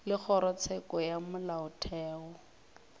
ge kgorotsheko ya molaotheo e